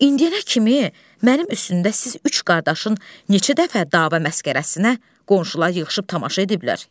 İndiyənə kimi mənim üstümdə siz üç qardaşın neçə dəfə dava məskərəsinə qonşular yığışıb tamaşa ediblər.